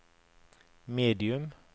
medium